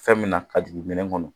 Fɛn min na ka jigin minɛn kɔnɔ